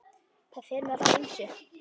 Það fer nú eftir ýmsu.